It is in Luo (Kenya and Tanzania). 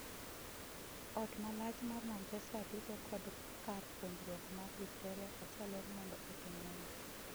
Ot malach mar Manchester duto kod kar puonjruok mar Victoria oselor mondo otim nonro.